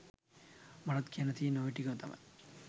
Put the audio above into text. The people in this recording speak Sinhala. මටත් කියන්න තියෙන්නෙ ඔය ටික තමයි.